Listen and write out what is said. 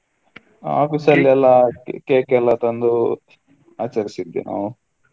Office ಅಲ್ಲಿ ಎಲ್ಲ cake ಎಲ್ಲ ತಂದು ಆಚರಿಸಿದ್ವಿ.